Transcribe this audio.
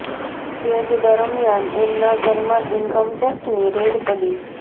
એ જ દરમિયાન એમના ઘર માં ઇન્કમ ટેક્સ ની રેડ પડી